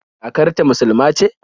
Kakar ta musuluma ce?